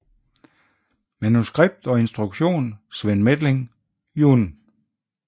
Manuskript og instruktion Sven Methling jun